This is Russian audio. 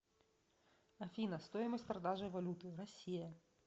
афина стоимость продажи валюты россия